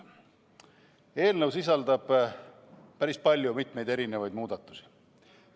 Eelnõu sisaldab päris palju erinevaid muudatusi.